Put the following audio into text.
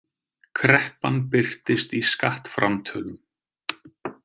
Kreppan birtist í skattframtölum